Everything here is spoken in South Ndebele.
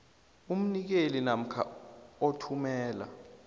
umnikeli namkha othumela